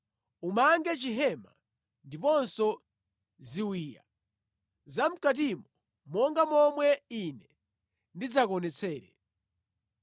Umange chihema ndiponso ziwiya zamʼkatimo monga momwe Ine ndidzakuonetsere.